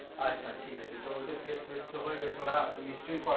আচ্ছা ঠিক আছে তো ওদের নিশ্চয়